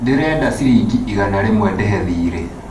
dĩrenda cirĩngĩ igana rĩmwe ndĩhe thiirĩ